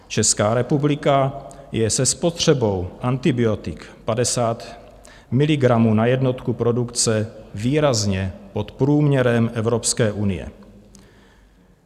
Česká republika je se spotřebou antibiotik 50 mg na jednotku produkce výrazně pod průměrem Evropské unie.